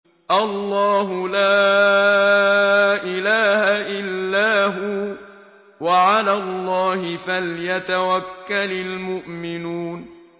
اللَّهُ لَا إِلَٰهَ إِلَّا هُوَ ۚ وَعَلَى اللَّهِ فَلْيَتَوَكَّلِ الْمُؤْمِنُونَ